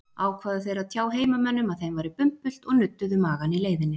Ákváðu þeir að tjá heimamönnum að þeim væri bumbult og nudduðu magann í leiðinni.